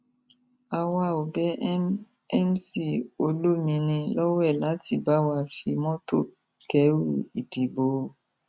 àwa ò bẹ m mc olomini lọwẹ láti bá wa fi mọtò kẹrù ìdìbò o